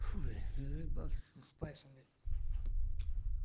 фу блять я заебался с этим спайсами